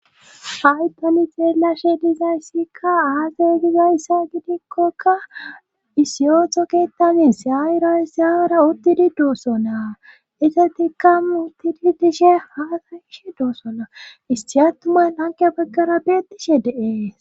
Hay tani xeelashe dizayssikka aasa gizayssa gidikkoka isiyotho ketamis yayirasaawara uttidi doosso naa isatikka uttidi dishe ha asa gishe doossonaa isti attuman hanko baggara beettishe dees